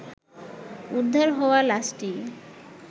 উদ্ধার হওয়া লাশটি